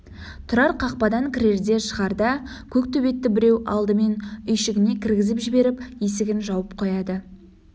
тұрар қақпадан кірерде-шығарда көк төбетті біреу алдымен үйшігіне кіргізіп жіберіп есігін жауып қояды